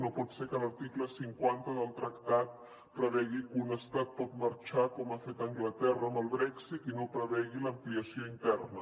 no pot ser que l’article cinquanta del tractat prevegi que un estat pot marxar com ha fet anglaterra amb el brexit i no prevegi l’ampliació interna